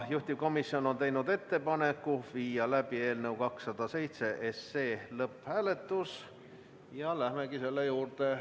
Juhtivkomisjon on teinud ettepaneku viia läbi eelnõu 207 lõpphääletus ja me lähemegi selle juurde.